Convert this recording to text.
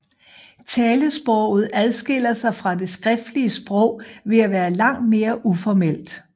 Talesproget adskiller sig fra det skriftlige sprog ved at være langt mere uformelt